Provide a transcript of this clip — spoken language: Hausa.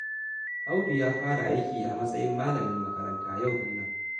Audu ya fara aiki a matsayin malamin makaranta yau ɗin nan